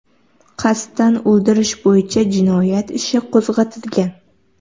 Qasddan o‘ldirish bo‘yicha jinoyat ishi qo‘zg‘atilgan.